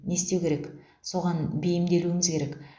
не істеу керек соған бейімделуіміз керек